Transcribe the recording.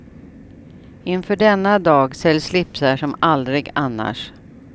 Inför denna dag säljs slipsar som aldrig annars.